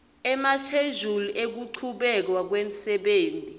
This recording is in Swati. emashejuli ekuchubeka kwemsebenti